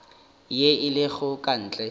ye e lego ka ntle